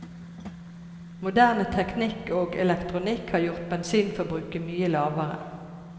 Moderne teknikk og elektronikk har gjort bensinforbruket mye lavere.